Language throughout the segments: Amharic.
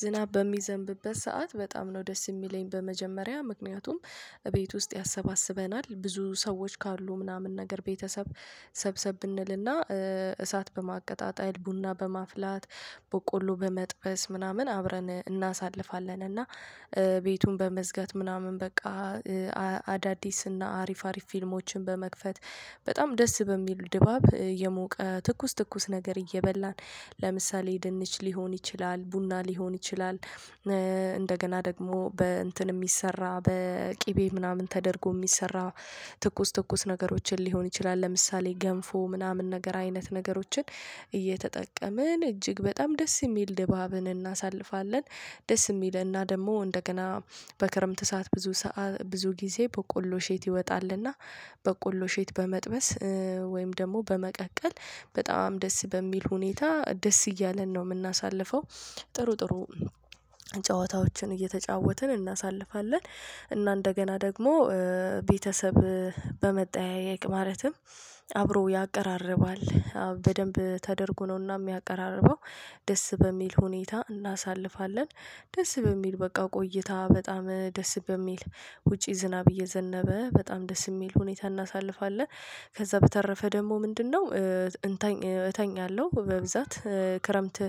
ዝናብ በሚዘንብበት ሰዓት በጣም ነው ደስ የሚለኝ በመጀመሪያ ምክንያቱም እቤት ውስጥ ያሰባስበናል ብዙ ሰዎች ካሉ ምናምን ነገር ቤተሰብ ሰብሰብ እንልና እሳት በማቀጣጣል ቡና በማፍላት በቆሎ በመጥበስ ምናምን አብረን እናሳልፋለን እና ቤቱን በመዝጋት ምናምን በቃ አዳዲስና አሪፍ አሪፍ ፊልሞችን በመክፈት በጣም ደስ በሚሉ ድባብ የሞቀ ትኩስ ትኩስ ነገር እየበላን ለምሳሌ ድንች ሊሆን ይችላል ቡና ሊሆን ይችላል። እንደገና ደግሞ በእንትን የሚሰራ በቅቤ ምናምን ተደርጎ የሚሰራ ትኩስ ትኩስ ነገሮችን ሊሆን ይችላል ለምሳሌ ገንፎ ምናምን ነገር አይነት ነገሮችን እጅግ በጣም ደስ የሚል ድባብን እናሳልፋለን። ደስ የሚልና ደግሞ እንደገና በክረምት ሰዓት ብዙ ብዙ ጊዜ በቆሎ ሼት ይወጣልና በቆሎ ሼት በመጥበስ ወይም ደግሞ በመቀቀል በጣም ደስ በሚል ሁኔታ ደስ እያለን ነው የምናሳልፈው። ጥሩ ጥሩ ጨዋታዎችን እየተጫወትን እናሳልፋለን እና እንደገና ደግሞ ቤተሰብ በመጠየቅ ማለትም አብሮ ያቀራርባል በደንብ ተደርጎ ነውና የሚያቀራርበው። ደስ በሚል ሁኔታ እናሳልፋለን ደስ በሚል በቃ ቆይታ በጣም ደስ በሚል ውጪ ዝናብ እየዘነበ በጣም ደስ የሚል ሁኔታ እናሳልፋለን። ከዛ በተረፈ ደግሞ ምንድነው? እንተኝ እተኛለው በብዛት ክረምት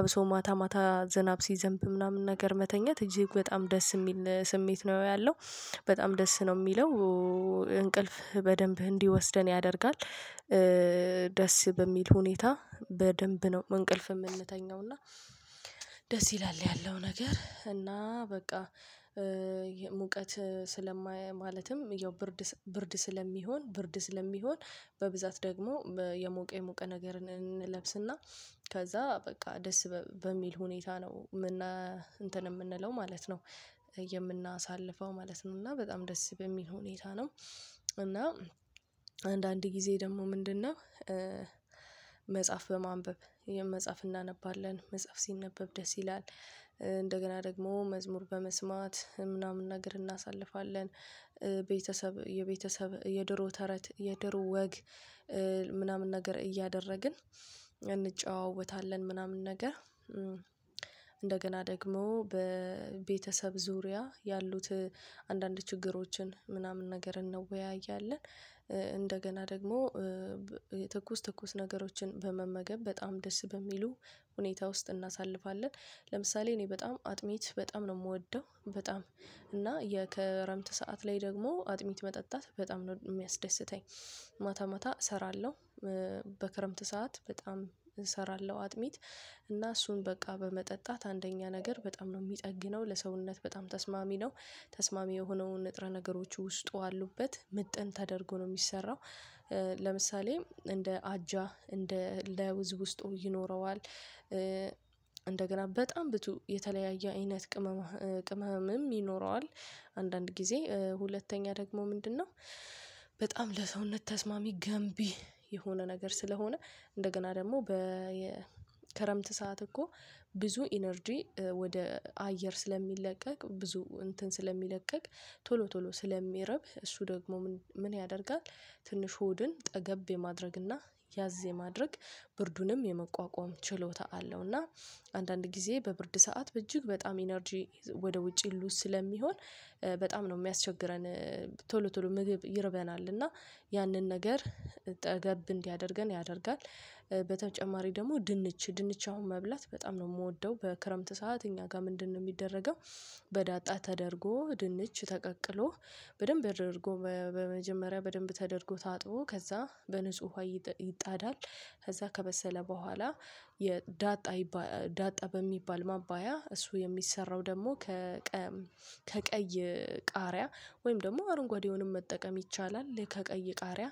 አብሶ ማታ ማታ ዝናብ ሲዘንብ ምናምን ነገር መተኛት እጅግ በጣም ደስ የሚል ስሜት ነው ያለው። በጣም ደስ ነው የሚለው እንቅልፍ በደንብ እንዲወስደን ያደርጋል። ደስ በሚል ሁኔታ በደንብ ነው እንቅልፍ የምንተኛው እና ደስ ይላል ያለው ነገር እና በቃ። ሙቀት ስለማያይ ማለትም ያው ብርድ ብርድ ስለሚሆን ብርድ ስለሚሆን በብዛት ደግሞ የሞቀ የሞቀ ነገርን እንለብስና ከዛ በቃ ደስ በሚል ሁኔታ ነው ምና እንትን የምንለው ማለት ነው። የምናሳልፈው ማለት ነው እና በጣም ደስ በሚል ሁኔታ ነው። እና አንዳንድ ጊዜ ደግሞ ምንድነው? መጽሐፍ በማንበብ የመጽሐፍ እናነባለን መጽሐፍ ሲነበብ ደስ ይላል። እንደገና ደግሞ መዝሙር በመስማት ምናምን ነገር እናሳልፋለን። ቤተሰብ የቤተሰብ የድሮ ተረት የድሮ ወግ ምናምን ነገር እያደረግን እንጨዋወታለን ምናምን። ነገር ደግሞ በቤተሰብ ዙሪያ ያሉት አንዳንድ ችግሮችን ምናምን ነገር እንወያያለን። እንደገና ደግሞ የትኩስ ትኩስ ነገሮችን በመመገብ በጣም ደስ በሚሉ ሁኔታ ውስጥ እናሳልፋለን። ለምሳሌ እኔ በጣም አጥሚት በጣም ነው የምወደው በጣም እና ከረምት ሰዓት ላይ ደግሞ አጥሚት መጠጣት በጣም ነው የሚያስደስተኝ። ማታ ማታ እሰራለሁ በክረምት ሰዓት በጣም እሰራለሁ አጥሚት እና እሱን በቃ በመጠጣት አንደኛ ነገር በጣም ነው የሚጠግነው ለሰውነት በጣም ተስማሚ ነው። ተስማሚ የሆነውን ንጥረ ነገሮች ውስጡ አሉበት ምጥን ተደርጎ ነው የሚሰራው። ለምሳሌ እንደ አጃ እንደ ለውዝ ውስጡ ይኖረዋል። እንደገና በጣም ብቱ የተለያየ አይነት ቅመም ቅመምም ይኖረዋል አንዳንድ ጊዜ ሁለተኛ ደግሞ ምንድነው? በጣም ለሰውነት ተስማሚ ገንቢ የሆነ ነገር ስለሆነ። እንደገና ደግሞ በየከረምት ሰዓት እኮ ብዙ ኢነርጂ ወደ አየር ስለሚለቀቅ ብዙ እንትን ስለሚለቀቅ ቶሎ ቶሎ ስለሚረብ እሱ ደግሞ ምን ያደርጋል? ትንሽ ሆድን ጠገብ የማድረግና ያዝ የማድረግ ብርዱንም የመቋቋም ችሎታ አለው። እና አንዳንድ ጊዜ በብርድ ሰዓት በእጅግ በጣም ኢነርጂ ወደ ውጪ ሉዝ ስለሚሆን በጣም ነው የሚያስቸግረን። ቶሎ ቶሎ ምግብ ይርበናል እና ያንን ነገር ጠገብ እንዲያደርገን ያደርጋል። በተጨማሪ ደግሞ ድንች ድንች አሁን መብላት በጣም ነው የምወደው በክረምት ሰዓት እኛ ጋር ምንድነው የሚደረገው? በዳጣ ተደርጎ ድንች ተቀቅሎ በደንብ አድርጎ በመጀመሪያ በደንብ ተደርጎ ታጥቦ ከዛ በንጹህ ውሃ ይጣዳል። ከዛ ከበሰለ በኋላ የዳጣ ዳጣ በሚባል ማባያ እሱ የሚሰራው ደግሞ ከ ቀም ከቀይ ቃሪያ ወይም ደግሞ አረንጓዴውንም መጠቀም ይቻላል። ከቀይ ቃሪያ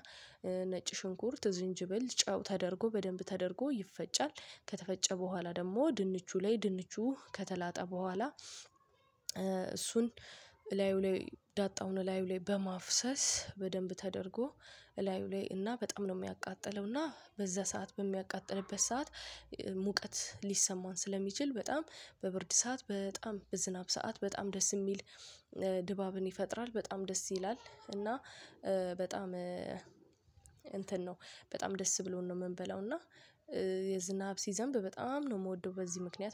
ነጭ ሽንኩርት ዝንጅብል ጨው ተደርጎ በደንብ ተደርጎ ይፈጫል። ከተፈጨ በኋላ ደግሞ ድንቹ ላይ ድንቹ ከተላጠ በኋላ እሱን ላዩ ላይ ዳጣውን ላዩ ላይ በማፍሰስ በደንብ ተደርጎ እላዩ ላይ እና በጣም ነው የሚያቃጥለው እና በዛ ሰዓት በሚያቃጥልበት ሰዓት ሙቀት ሊሰማን ስለሚችል በጣም በብርድ ሰዓት በጣም በዝናብ ሰዓት በጣም ደስ የሚል ድባብን ይፈጥራል። በጣም ደስ ይላል። እና በጣም እንትን ነው በጣም ደስ ብሎን ነው የምንበላው። እና የዝናብ ሲዘንብ በጣም ነው የምወደው በዚህ ምክንያት